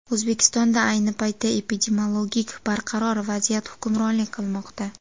O‘zbekistonda ayni paytda epidemiologik barqaror vaziyat hukmronlik qilmoqda.